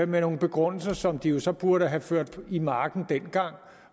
med nogle begrundelser som de jo så burde have ført i marken dengang